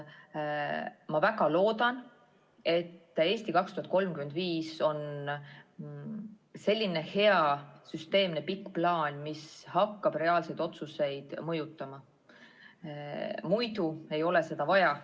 Ma väga loodan, et "Eesti 2035" on selline hea süsteemne pikk plaan, mis hakkab reaalseid otsuseid mõjutama, sest muidu ei ole seda vaja.